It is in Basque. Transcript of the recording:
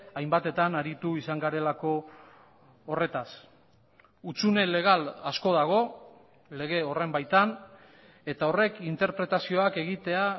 hainbatetan aritu izan garelako horretaz hutsune legal asko dago lege horren baitan eta horrek interpretazioak egitea